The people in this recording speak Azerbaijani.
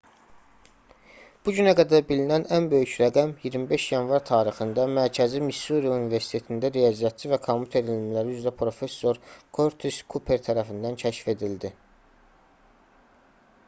bu günə qədər bilinən ən böyük rəqəm 25 yanvar tarixində mərkəzi missuri universitetində riyaziyyatçı və kompüter elmləri üzrə professor körtis kuper tərəfindən kəşf edildi